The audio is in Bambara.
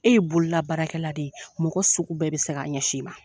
E ye bolola baarakɛla de ye mɔgɔ sugu bɛɛ bɛ se k'a ɲɛsin i ma.